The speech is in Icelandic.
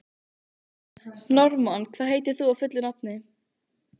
Norðmann, hvað heitir þú fullu nafni?